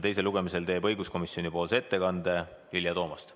Teisel lugemisel teeb õiguskomisjoni nimel ettekande Vilja Toomast.